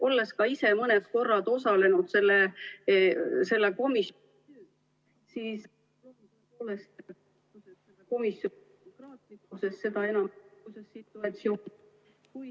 Olles ka ise mõne korra osalenud selle komisjoni ...